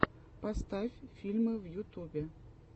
поставь фильмы в ютубе